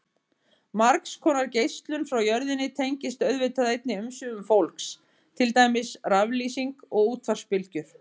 Margs konar geislun frá jörðinni tengist auðvitað einnig umsvifum fólks, til dæmis raflýsing og útvarpsbylgjur.